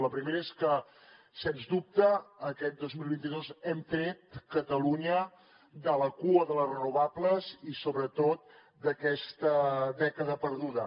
la primera és que sens dubte aquest dos mil vint dos hem tret catalunya de la cua de les renovables i sobretot d’aquesta dècada perduda